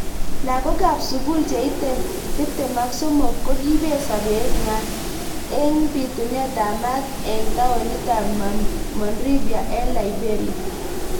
Lakakok ab sukul cheitei tip tem ak somok kokibet sabet nwa eng bitunet ab maat eng taonit ab Monrivia eng Liberia.